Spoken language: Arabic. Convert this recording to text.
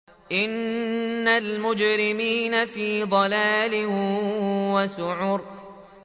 إِنَّ الْمُجْرِمِينَ فِي ضَلَالٍ وَسُعُرٍ